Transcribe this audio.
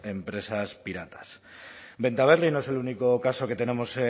empresas piratas bentaberri no es el único caso que tenemos